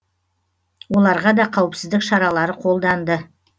оларға да қауіпсіздік шаралары қолданды